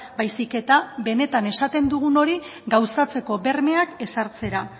baizik eta beenetan esaten dugun hori gauzatzeko bermeak ezartzera